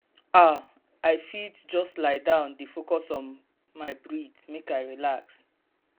ah i fit just lie down dey focus on my breath make i relax.